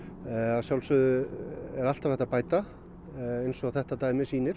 að sjálfsögðu er alltaf hægt að bæta eins og þetta dæmi sýnir